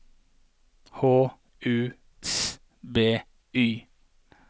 H U S B Y